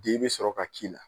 D bɛ sɔrɔ ka k'i la